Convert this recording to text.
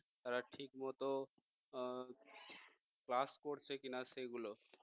তারা ঠিকমতো class করছে কিনা সেগুলো